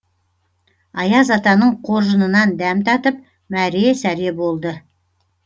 аяз атаның қоржынынан дәм татып мәре сәре болды